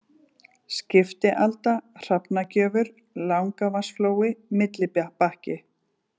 Skiptialda, Hrafnagjöfur, Langavatnsflói, Millibakki